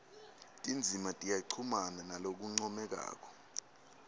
tindzima tiyachumana ngalokuncomekako